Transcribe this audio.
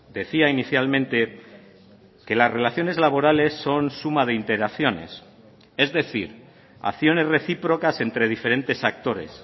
decía inicialmente que las relaciones laborales son suma de interacciones es decir acciones recíprocas entre diferentes actores